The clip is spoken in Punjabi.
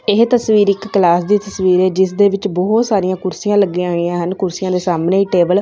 ਇਹ ਤਸਵੀਰ ਇੱਕ ਕਲਾਸ ਦੀ ਤਸਵੀਰ ਹੈ ਜਿਸ ਦੇ ਵਿੱਚ ਬਹੁਤ ਸਾਰੀਆਂ ਕੁਰਸੀਆਂ ਲੱਗੀਆਂ ਹੋਈਆਂ ਹਨ ਕੁਰਸੀਆਂ ਦੇ ਸਾਹਮਣੇ ਟੇਬਲ --